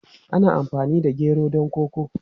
Ana amfani da gero don koko.